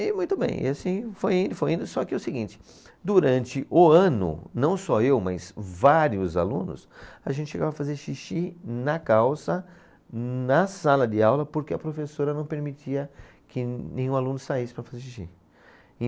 E muito bem, e assim foi indo, foi indo, só que o seguinte, durante o ano, não só eu, mas vários alunos, a gente chegava a fazer xixi na calça, na sala de aula, porque a professora não permitia que nenhum aluno saísse para fazer xixi.